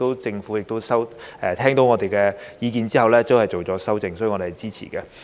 政府在聽到我們的意見後亦作出修正，所以我們是支持的。